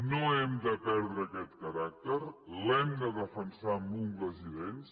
no hem de perdre aquest caràcter l’hem de defensar amb ungles i dents